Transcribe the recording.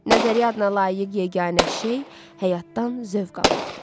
Nəzəriyyə adına layiq yeganə şey həyatdan zövq almaqdır.